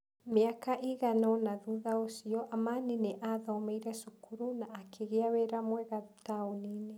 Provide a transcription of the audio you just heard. Mĩaka ĩigana ũna thutha ũcio, Amani nĩ aathomeire cukuru na akĩgĩa wĩra mwega taũni-inĩ.